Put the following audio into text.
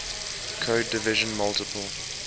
code division multiple